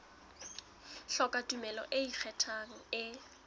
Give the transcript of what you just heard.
hloka tumello e ikgethang e